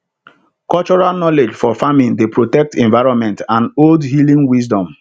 cultural knowledge for farming dey protect environment and old healing wisdom